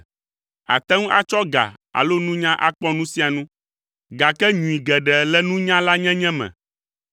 Àte ŋu atsɔ ga alo nunya akpɔ nu sia nu, gake nyui geɖe le nunyalanyenye me.